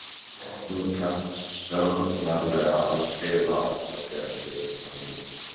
Þú kant sannarlega að skrifa ástarbréf, vina mín.